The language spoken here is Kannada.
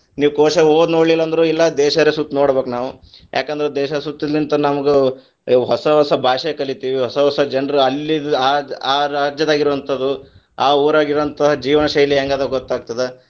ನೀವ್‌ ಕೋಶ ಓದ್ ನೋಡಲಿಲ್ಲಾ ಅಂದ್ರು ಇಲ್ಲಾ ದೇಶರ ಸುತ್ತಿ ನೋಡಬೇಕ ನಾವು, ಯಾಕಂದ್ರ ದೇಶ ಸುತ್ತುಲಿಂತ್ರ ನಮಗೂ ಹೊಸ ಹೊಸ ಭಾಷೆ ಕಲಿತಿವಿ ಹೊಸ ಹೊಸ ಜನ್ರ ಅಲ್ಲಿದ್‌ ಆದ ಆ ರಾಜ್ಯದಾಗಿರೊವಂತಾದು, ಆ ಊರಾಗಿರುವೋಂಥಾ ಜೀವನಶೈಲಿ ಹೆಂಗದ ಗೊತ್ತಾಗ್ತದ.